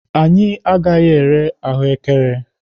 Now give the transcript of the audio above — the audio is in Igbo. Anyị agaghị ere ahụekere.